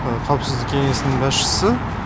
қауіпсіздік кеңесінің басшысы